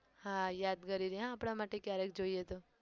હા યાદગીરી રે આપણા માટે કયારેક જોઈએ તો